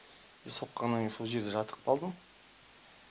со соққаннан кейін сол жерде жатып қалдым